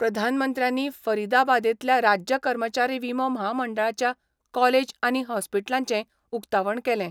प्रधानमंत्र्यांनी फरिदाबादेंतल्या राज्य कर्मचारी विमो म्हामंडळाच्या कॉलेज आनी हॉस्पिटलाचेंय उकतावण केलें.